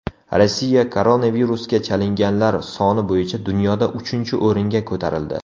Rossiya koronavirusga chalinganlar soni bo‘yicha dunyoda uchinchi o‘ringa ko‘tarildi.